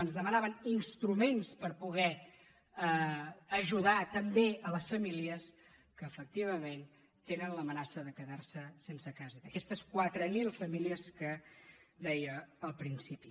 ens demanaven instruments per poder ajudar també les famílies que efectivament tenen l’amenaça de quedar se sense casa aquestes quatre mil famílies que deia al principi